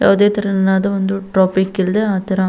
ಯಾವುದೇ ತರನಾದ ಒಂದು ಟ್ರಾಫಿಕ್ ಇಲ್ಲದೆ ಆತರ.